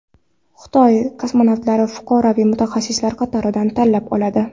Xitoy kosmonavtlarni fuqaroviy mutaxassislar qatoridan tanlab oladi.